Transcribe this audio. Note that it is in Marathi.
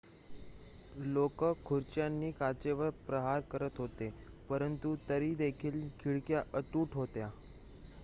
लोकं खुर्च्यांनी काचेवर प्रहार करत होते पंरतु तरीदेखील खिडक्या अतूट होत्या